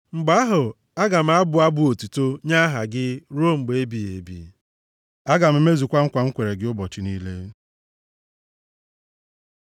Mgbe ahụ, aga m abụ abụ otuto nye aha gị, ruo mgbe ebighị ebi. Aga m emezukwa nkwa m kwere gị ụbọchị niile.